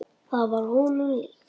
Það var honum líkt.